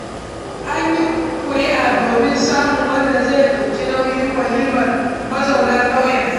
An yi ƙuri'a, domin samun wanda zai ɗauki nauyin walimar mazauna ƙauyen.